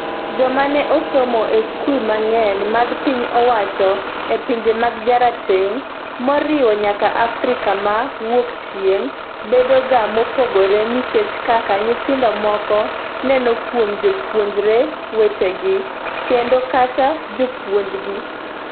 Joma ne osomo e skul mang’eny mag piny owacho e pinje mag jarateng', moriwo nyaka Afrika ma Wuokchieng’, bedo ga mopogore nikech kaka nyithindo moko neno kuom jopuonjre wetegi, kendo kata jopuonjgi.